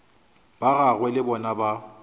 ba gagwe le bona ba